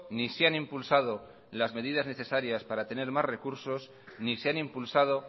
ni se han impulsado las medidas necesarias para tener más recursos ni se han impulsado